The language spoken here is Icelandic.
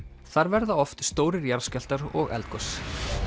þar verða oft stórir jarðskjálftar og eldgos